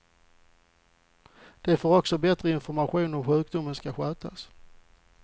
De får också bättre information om hur sjukdomen ska skötas.